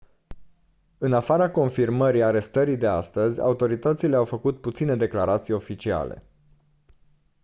în afara confirmării arestării de astăzi autoritățile au făcut puține declarații oficiale